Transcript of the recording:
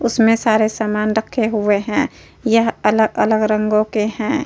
उसमें सारे समान रखे हुए हैं। यह अलग - अलग रंगों के हैं।